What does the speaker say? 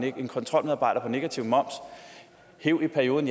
en kontrolmedarbejder på området negativ moms hev i perioden